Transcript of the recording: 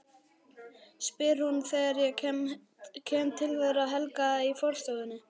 spyr hún þegar ég kem til þeirra Helga í forstofunni.